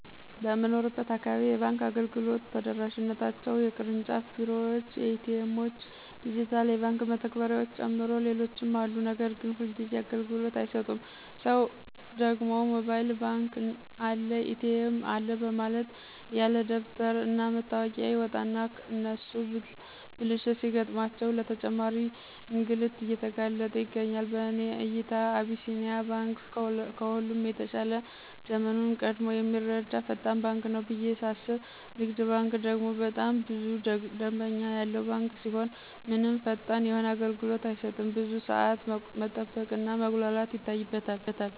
በምኖርበት አካባቢ የባንክ አገልግሎት ተደራሽነታቸው የቅርጫፍ ቢሮዎች፣ ኤ.ቲ. ኤምዎች፣ ዲጅታል የባንክ መተግበሪያዎችን ጨምሮ ሌሎችም አሉ ነገር ግን ሁልጊዚ አግልግሎት አይሰጡም ሰው ደግሞ ሞባይል ባንክ አለ፣ ኤ.ቲ.ኤም አለ በማለት ያለደበተር እና መታወቂያ ይወጣና እነሱ ብልሽት ሲገጥማቸው ለተጨማሪ እንግልት እየተጋለጥ ይገኛል። በእኔ እይታ አቢሲኒያ ባንክ ከሁሉም የተሻለ ዘመኑን ቀድሞ የሚረዳ ፈጣን ባንክ ነው ብየ ሳስብ ንግድ ባንክ ደግሞ በጣም ብዙ ደምበኛ ያለው ባንክ ሲሆን ምንም ፈጣን የሆነ አገልግሎት አይሰጥም ብዙ ሳዓት መጠበቅ እና መጉላላት ይታይበታል።